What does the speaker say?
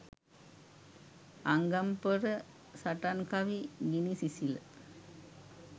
අංගම් පොර සටන් කවි ගිනි සිසිල